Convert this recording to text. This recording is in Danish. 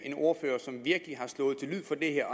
en ordfører som virkelig har slået til lyd for det her